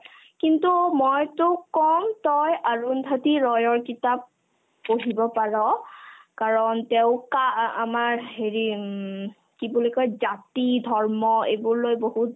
কিন্তু মই তোক ক'ম তই অৰুন্ধতী ৰয়ৰ কিতাপ পঢ়িব পাৰ কাৰণ তেওঁ কা আ ~ আমাৰ হেৰি উম কি বুলি কই জাতি-ধৰ্ম এইবোৰ লৈ বহুত